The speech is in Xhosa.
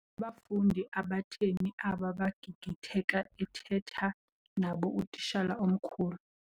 Ngabafundi abatheni aba bagigitheka ethetha nabo utitshala omkhulu?